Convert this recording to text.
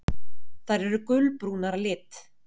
Þær eru gulbrúnar að lit.